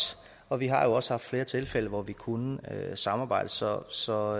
og vi har jo også haft flere tilfælde hvor vi kunne samarbejde så så